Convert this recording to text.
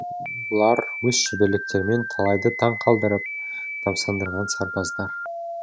олар өз шеберліктерімен талайды таң қалдырып тамсандырған сарбаздар